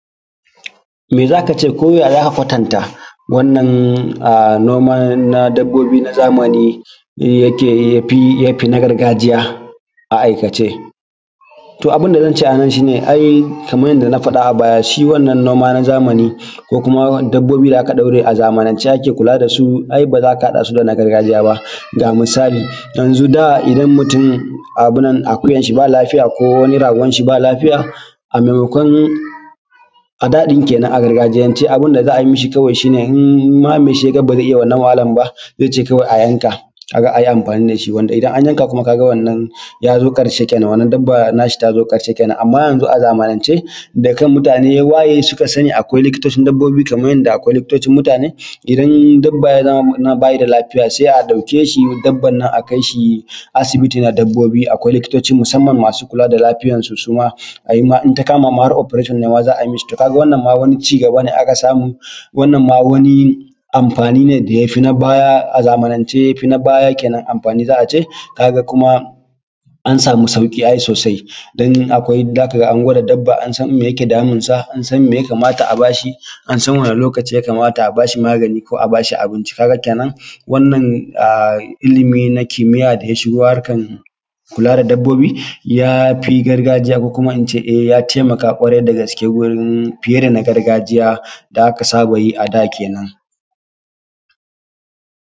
Me za ka ce ko ya za ka kwatanta wannan noman zamani ya fi na gargajiya a aikice. To abun da zan ce a nan kamar yadda na fada a baya ai shi wannan noma na zamani ko kuma dabbobi da aka ɗaure a zamanance ake kula da su ai ba za ka hada su da na gargajiya ba. Misali, yanzu da idan mutum akuyan shi ba lafiya ko ragon shi ba lafiya a da ɗin kenan abun da za a yi mi shi idan mai shi ya ga ba zai iya wannan wahalar ba zai ce a yi amfani da shi wato idan an yanaka ɗin ya zo karshe kenan wannan dabba ta sa ta zo ƙarshe .Amma yanzu zamanance da kan mutane ya waye akwai likitoci na dabbobi kamar yadda akwai likitocin mutane in dabba ba ya da lafiya sai a ɗauki dabban a kai shi asibiti na dabbobi akwai likitocin da suke kula da lafiyar su in ta kama har operation ma za a yi mi shi. Ka ga wannan ai wani ci gaba a ka samu, amfani ne da ya fi na baya amfani za a ce kuma an sama sauƙi ai sosai ko kuma za ka ga an gwada dabba an san me yake damunsa an san me za a ba shi ki wani lokaci ya kamata a ba shi magani. Ka ga kenan wannan ilimi na kimiyya da ya shigo na kula da dabbobi ya fi na gargajiya ko in ce ya fi gargajiya ƙwarai dagaske fiye da na gargajiya da aka saba yi a da kenan.